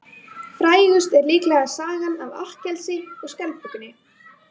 Frægust er líklega sagan af Akkillesi og skjaldbökunni.